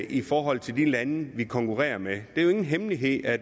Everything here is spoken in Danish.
i forhold til de lande vi konkurrerer med det er jo ingen hemmelighed at